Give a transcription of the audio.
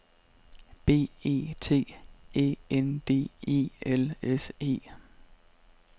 B E T Æ N D E L S E